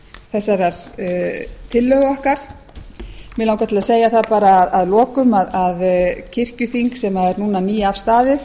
þessarar tillögu okkar mig langar til að segja það bara að lokum að kirkjuþing sem er núna nýafstaðið